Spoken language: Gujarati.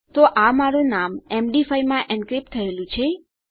તો આ મારું નામ એમડી5 માં એન્ક્રિપ્ટ થયેલું છે